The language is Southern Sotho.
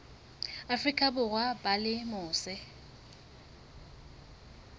afrika borwa ba leng mose